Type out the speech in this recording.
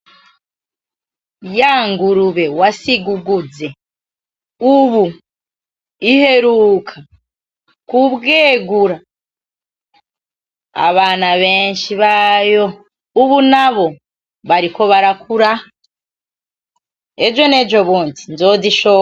Ya ngurube wasiga uguze ubu iheruka kubwegura abana benshi bayo, ubu nabo bariko barakura, ejo n'ejo bundi nzozishora.